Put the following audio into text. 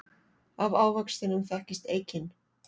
Af ávextinum þekkist eikin.